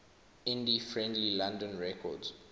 indie friendly london records